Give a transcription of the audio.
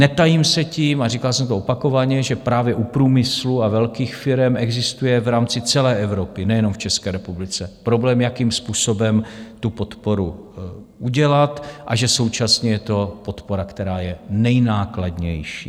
Netajím se tím, a říkal jsem to opakovaně, že právě u průmyslu a velkých firem existuje v rámci celé Evropy, nejenom v České republice, problém, jakým způsobem tu podporu udělat, a že současně je to podpora, která je nejnákladnější.